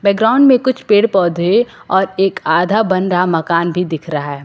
Ground में कुछ पेड़ पौधे और एक आधा बन रहा मकान भी बना दिख रहा है।